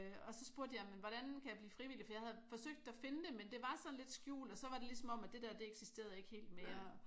Og så spurgte jeg men hvordan kan jeg blive frivillig fordi jeg havde forsøgt at finde det men det var sådan lidt skjult og så var det ligesom om at det dér det eksisterede ikke helt mere